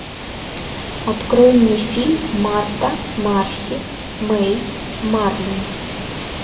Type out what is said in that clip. открой мне фильм марта марси мэй марлен